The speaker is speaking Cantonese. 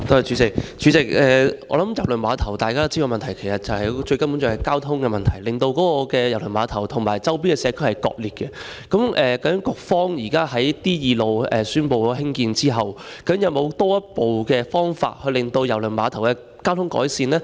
主席，我想大家都知道郵輪碼頭最主要的問題是交通，令郵輪碼頭與周邊社區割裂，究竟局方現時宣布興建承啟道後，有沒有進一步的方法改善郵輪碼頭的交通？